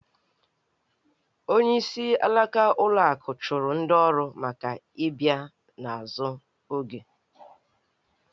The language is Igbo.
Onyeisi alaka ụlọ akụ chụrụ ndị ọrụ maka ị bịa n’azụ oge